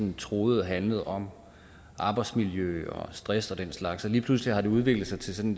troede handlede om arbejdsmiljø og stress og den slags og lige pludselig har det udviklet sig til sådan